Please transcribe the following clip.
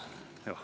Vabandust!